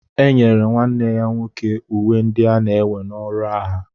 Enyere nwanne ya nwoke uwe ndị ana-ewe na ọrụ agha